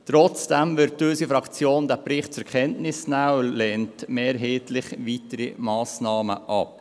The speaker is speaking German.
Trotzdem wird unsere Fraktion diesen Bericht zur Kenntnis nehmen und mehrheitlich weitere Massnahmen ablehnen.